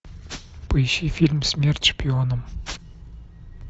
поищи фильм смерть шпионам